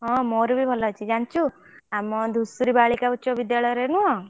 ହଁ ମୋର ବି ଭଲ ଅଛି ଜାଣିଛୁ ଆମ ଧୂସୁରୀ ବାଳିକା ଉଚ ବିଦ୍ୟାଳୟ ରେ ନୁହଁ।